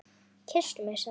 Kysstu mig sagði hann.